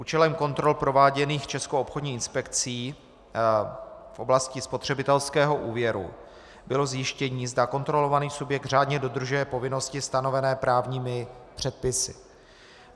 Účelem kontrol prováděných Českou obchodní inspekcí v oblasti spotřebitelského úvěru bylo zjištění, zda kontrolovaný subjekt řádně dodržuje povinnosti stanovené právními předpisy.